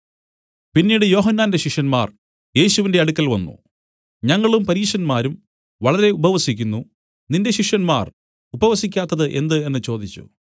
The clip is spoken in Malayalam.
പിന്നീട് യോഹന്നാന്റെ ശിഷ്യന്മാർ യേശുവിന്റെ അടുക്കൽ വന്നു ഞങ്ങളും പരീശന്മാരും വളരെ ഉപവസിക്കുന്നു നിന്റെ ശിഷ്യന്മാർ ഉപവസിക്കാത്തത് എന്ത് എന്നു ചോദിച്ചു